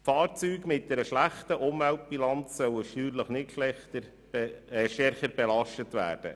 Fahrzeuge mit einer schlechten Umweltbilanz sollen steuerlich nicht stärker belastet werden.